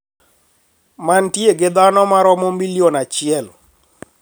Mantie gi dhano maromo milion achiel